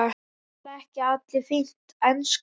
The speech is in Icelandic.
Tala ekki allir fína ensku?